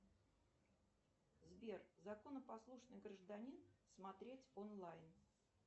сбер законопослушный гражданин смотреть онлайн